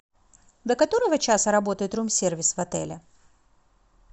до которого часа работает рум сервис в отеле